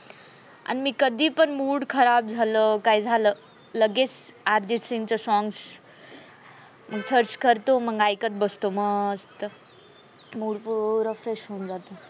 आणि मी कधी पण mood खराब झालं काय झाल लगेच अर्जित सिंग songs search करतो, ऐकत बसतो मस्त mood वूड fresh होऊन जात.